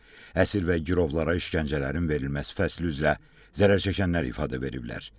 Əsir və girovlara işgəncələrin verilməsi fəsli üzrə zərərçəkənlər ifadə veriblər.